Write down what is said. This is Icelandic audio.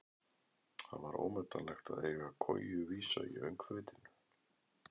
Það var ómetanlegt að eiga koju vísa í öngþveitinu.